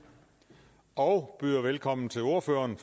og byder velkommen til ordføreren